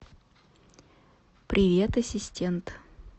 привет ассистент